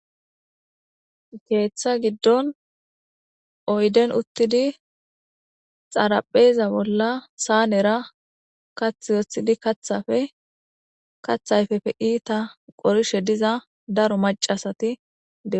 Keeththa giddon oyden uttidi xarapheeza bolla saanera kath wothidi kathafe kathayfefe iita qorishe diza daro macasati dee.